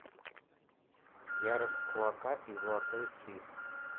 ярость кулака и золотой флис